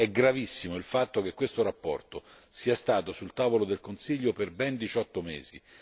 È gravissimo il fatto che questa relazione sia stata sul tavolo del Consiglio per ben diciotto mesi.